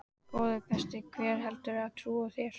Góði besti, hver heldurðu að trúi þér?